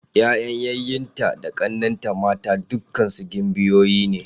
Yayan yayyenta da ƙannenta mata dukkansu gimbiyoyi ne.